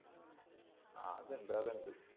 ആ അതെന്തായാലും ഉണ്ട്.